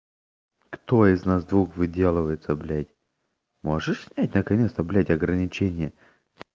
кто из нас двух выделывается блять можешь снять наконец-то блять ограничение